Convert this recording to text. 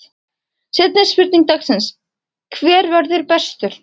Seinni spurning dagsins: Hver verður bestur?